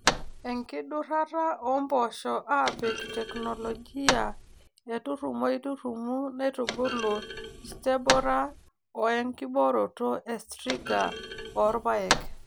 enkidurata oompoosho aapik teknologia e turumoi-turumu naitubulu stemborer owe nkibooroto e striga orpaek